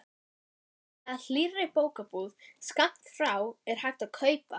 Í sæmilega hlýrri bókabúð skammt frá er hægt að kaupa